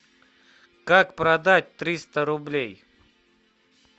как продать триста рублей